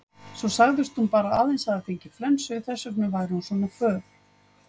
Svo sagðist hún bara aðeins hafa fengið flensu, þess vegna væri hún svona föl.